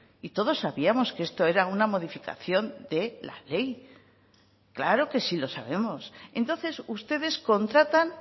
y todos sabíamos que esto era una modificación de la ley claro que sí lo sabemos entonces ustedes contratan